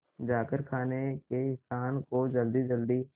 जाकर खाने के स्थान को जल्दीजल्दी